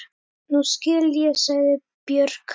Nú skil ég, sagði Björg.